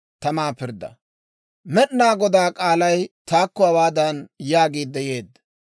Med'inaa Godaa k'aalay taakko hawaadan yaagiidde yeedda;